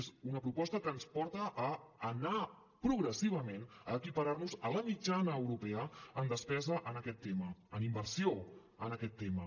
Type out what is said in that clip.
és una proposta que ens porta a anar progressivament a equiparar nos a la mitjana europea en despesa en aquest tema en inversió en aquest tema